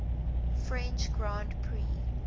french grand prix